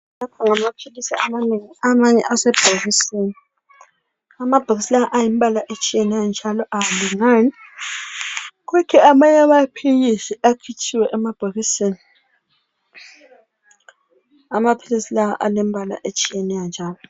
Lapha ngamaphilisi amanengi, amanye asebhokisini. Amabhokisi lawa ayimbala etshiyeyo njalo awalingani. Kuthi amanye amaphilisi akhitshiwe emabhokisini. Amaphilisi lawa ayimbala etshiyeneyo njalo.